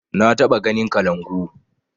Na taɓa ganin kalangu